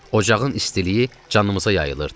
Ocağın istiliyi canımıza yayılırdı.